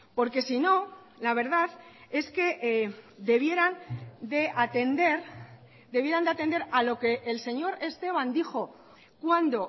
porque sino la verdad es que debieran de atender debieran de atender a lo que el señor esteban dijo cuando